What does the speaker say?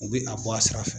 U bɛ a bɔ a sira fɛ